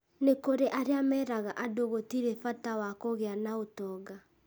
nĩ kũrĩ arĩa meraga andũ gũtĩrĩ bata wa kũgĩa na ũtonga